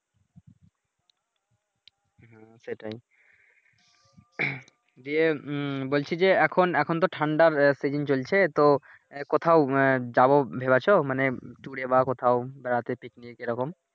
হ্যাঁ সেটাই, যে বলছি যে এখন এখন তো ঠান্ডার সিজন চলছে তো কোথাও যাবো ভেবেছো মানে ট্যুরে বা কোথাও বেড়াতে পিকনিক এইরকম